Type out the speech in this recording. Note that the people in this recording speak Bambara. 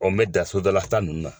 n mɛ dan sodala ta ninnu na.